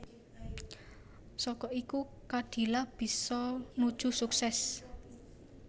Saka iku Khadilah bisa nuju sukses